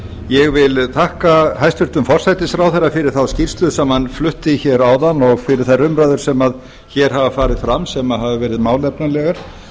ég vil þakka hæstvirtum forsætisráðherra fyrir þá skýrslu sem hann flutti hér áðan og fyrir þær umræður sem hér hafa farið fram sem hafa verið málefnalegar